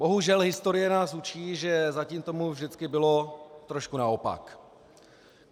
Bohužel historie nás učí, že zatím tomu vždycky bylo trošku naopak.